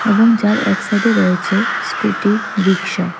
এবং যার এক সাইডে রয়েছে স্কুটি রিক্সা।